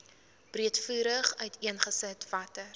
breedvoerig uiteengesit watter